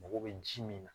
Mago bɛ ji min na